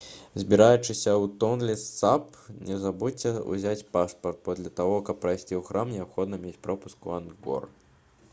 збіраючыся ў тонле сап не забудзьцеся ўзяць пашпарт бо для таго каб прайсці ў храм неабходна мець пропуск у ангкор